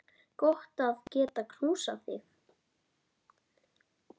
Gott að geta knúsað þig.